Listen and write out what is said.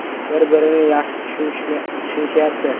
Bir-birini yaxshi tushunishyapti.